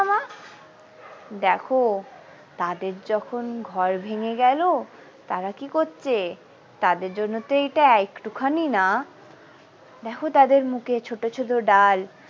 দেখো তাদের যখন ঘর ভেঙে গেল তারা কি করছে তাদের জন্য তো এইটা একটুখানি না দেখো তাদের মুখে ছোট ছোট ডাল।